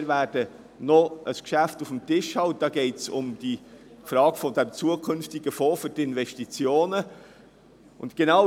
Wir werden noch ein Geschäft betreffend den zukünftigen Fonds für Investitionen auf dem Tisch haben.